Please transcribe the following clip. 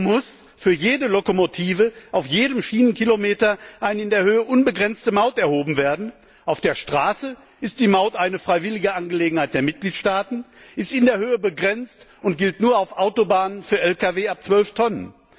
So muss für jede Lokomotive auf jedem Schienenkilometer eine in der Höhe unbegrenzte Maut erhoben werden, auf der Straße ist die Maut eine freiwillige Angelegenheit der Mitgliedstaaten, in der Höhe begrenzt und gilt nur auf Autobahnen für Lkw ab 12 Tonnen.